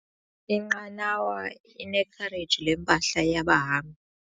Inqanawa inekhareji lempahla yabahambi.